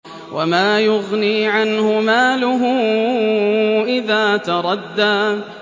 وَمَا يُغْنِي عَنْهُ مَالُهُ إِذَا تَرَدَّىٰ